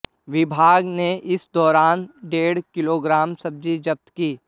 विभाग ने इस दौरान डेढ़ किलोग्राम सब्जी जब्त की